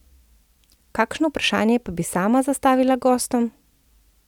Kakšno vprašanje pa bi sama zastavila gostom?